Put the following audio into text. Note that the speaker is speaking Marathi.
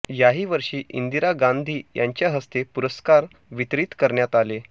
याही वर्षी इंदिरा गांधी यांच्या हस्ते पुरस्कार वितरीत करण्यात आले